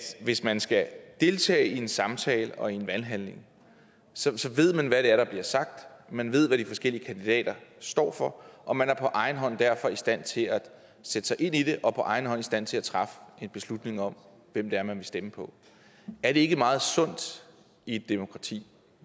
at hvis man skal deltage i en samtale og i en valghandling så ved man hvad det er der bliver sagt man ved hvad de forskellige kandidater står for og man er derfor på egen hånd i stand til at sætte sig ind i det og på egen hånd i stand til at træffe en beslutning om hvem det er man vil stemme på er det ikke meget sundt i et demokrati